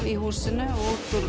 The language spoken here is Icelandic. í húsinu og